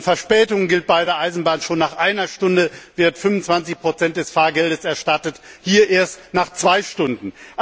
Bei Verspätungen wird bei der Eisenbahn schon nach einer Stunde 25 des Fahrgeldes erstattet, hier erst nach zwei Stunden.